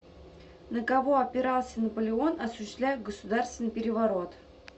на кого опирался наполеон осуществляя государственный переворот